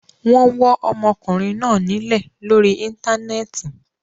Wọ́n wọ́ ọmọkùnrin náa nílẹ̀ lórí Íńtánẹ́ẹ̀tì.